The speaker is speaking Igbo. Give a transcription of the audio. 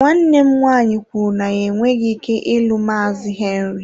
Nwanne m nwaanyị kwuru na ya enweghị ike ịlụ Maazị Henry.